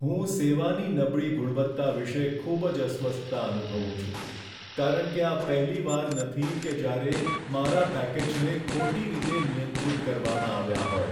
હું સેવાની નબળી ગુણવત્તા વિશે ખૂબ જ અસ્વસ્થતા અનુભવું છું, કારણ કે આ પહેલીવાર નથી કે જ્યારે મારા પેકેજને ખોટી રીતે નિયંત્રિત કરવામાં આવ્યાં હોય.